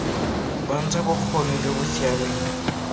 bontsha bokgoni jo bo siameng